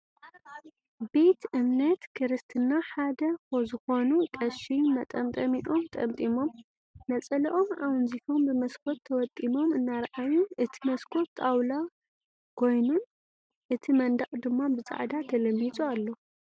ቤት እምነት ክርስትና ሓደ ዝኮኑ ቀሺ መጠምጠሚኦም ጠምጢሞም ነፀልኦም ኣወንዚፎም ብመስኮት ተወጢሞም እናረኣዩ እቲ መስኮት ጣውላ ኮይነኑ እቲ መንድቅ ድማ ብፃዕዳ ተለሚፁ ኣሎ።